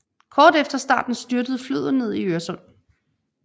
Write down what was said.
Kort efter starten styrtede flyet ned i Øresund